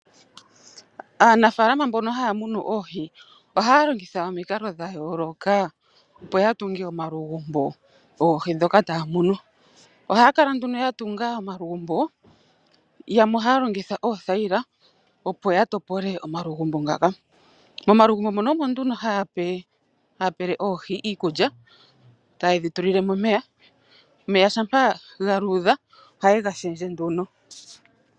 Aanafaalama mbono haya munu oohi ohaya longitha omikalo dhayooloka opo yatunge omalugumbo goohi ndhoka taya munu . Ohaya kala nduno ya tunga omalugumbo moka yamwe haya longitha oothayila opo ya topole omalugumbo ngaka . Momalugumbo muno omo nduno haya pele oohi iikulya yo taye dhi tulilemo omeya. Omeya shampa ga luudha ohaye ga shendje nduno .